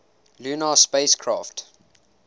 lunar spacecraft